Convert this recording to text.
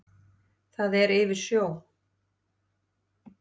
Það er yfir sjó.